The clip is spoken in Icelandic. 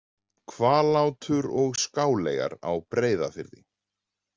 Hvallátur og Skáleyjar á Breiðafirði.